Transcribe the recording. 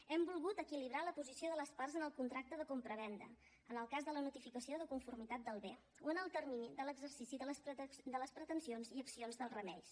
hem volgut equilibrar la posició de les parts en el contracte de compravenda en el cas de la notificació de conformitat del bé o en el termini de l’exercici de les pretensions i accions dels remeis